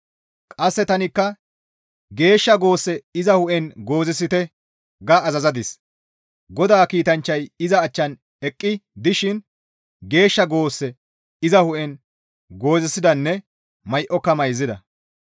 Qasse tanikka, «Geeshsha goosse iza hu7en goozisite» ga azazadis; GODAA kiitanchchay iza achchan eqqi dishin geeshsha goosse iza hu7en goozisidanne may7oka mayzida.